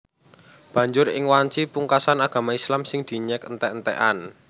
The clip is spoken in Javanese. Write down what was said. Banjur ing wanci pungkasan agama Islam sing dinyèk entèk entèkan